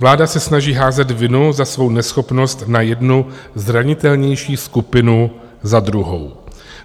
Vláda se snaží házet vinu za svou neschopnost na jednu zranitelnější skupinu za druhou.